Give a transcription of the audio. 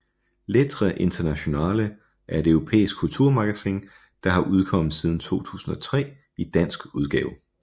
Lettre Internationale er et europæisk kulturmagasin der har udkommet siden 2003 i dansk udgave